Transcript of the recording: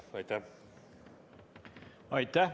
Aitäh!